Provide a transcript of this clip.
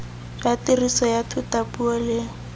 jwa tiriso ya thutapuo le